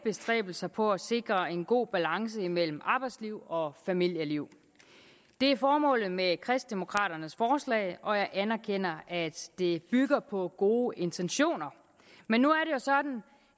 bestræbelser på at sikre en god balance imellem arbejdsliv og familieliv det er formålet med kristendemokraternes forslag og jeg anerkender at det bygger på gode intentioner men nu